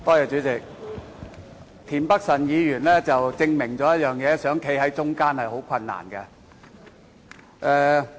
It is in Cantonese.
主席，田北辰議員證明了一件事：要站在中間是很困難的。